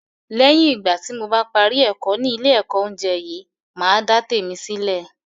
Lẹ́yìn ìgbà tí mo bá parí ẹ̀kọ́ ni ile ẹ̀kọ́ oúnjẹ yìí, màá dá tèmi sílè